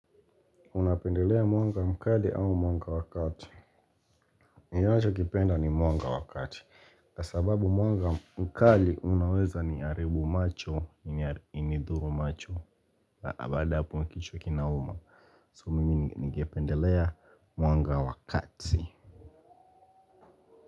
Unapendelea mwanga mkali au mwanga wa kati. Ninachokipenda ni mwanga wa kati. Kwa sababu mwanga mkali unaweza niharibu macho, inidhuru macho. Baada ya hapo kichwa kinauma. So mimi ningependelea mwanga wa kati.